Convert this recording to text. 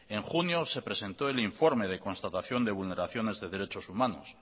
en junio se presentó el informe de constatación de vulneraciones de derechos humanos